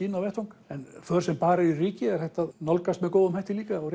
inn á vettvang en för sem bara eru í ryki er hægt að nálgast með góðum hætti líka og